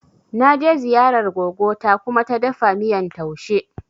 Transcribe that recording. Na je ziyarar gogo ta Kuma ta dafa miyan taushe.